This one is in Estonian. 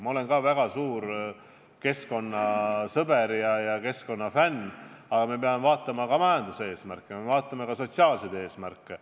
Ma olen ka ise väga suur keskkonnasõber ja keskkonnafänn, aga me peame vaatama ka majanduseesmärke, me peame vaatama ka sotsiaalseid eesmärke.